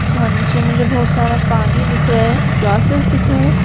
जहा नीचे मुझे बहुत सारा पानी दिख रहा है ग्रासेज दिख रहा है।